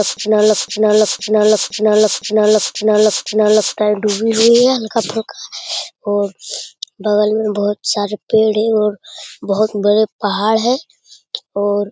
लगता है डूबी नहीं है हल्का-फल्का और बगल में बहुत सारे पेड़ है और बहुत बड़े पहाड़ है और --